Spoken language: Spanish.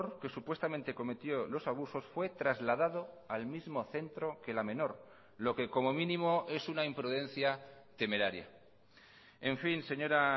que supuestamente cometió los abusos fue trasladado al mismo centro que la menor lo que como mínimo es una imprudencia temeraria en fin señora